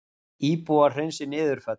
Íbúar hreinsi niðurföll